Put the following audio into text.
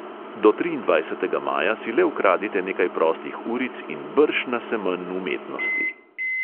Do triindvajsetega maja si le ukradite nekaj prostih uric in brž na semenj umetnosti!